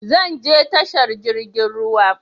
Zan je tashar jirgin ruwa